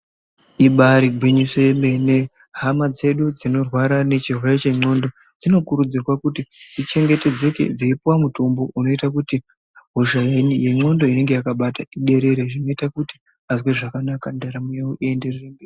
Ibari gwinyiso yemene, hama dzedu dzinorwara nechirwere chendxondo dzinokurudzirwa kuti dzichengetedzeke dzeipuwa mutombo unoita kuti hosha yendxondo inenge yakabata iderere zvinoita kuti azwe zvakanaka ndaramo yavo ienderere mberi.